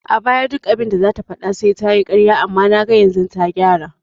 A baya duk abinda zata faɗa sai tayi ƙarya amma naga yanzu ta gyara